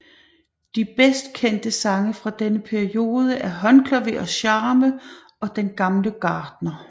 De bedst kendte sange fra denne periode er Håndklaver og Charme og Den Gamle Gartner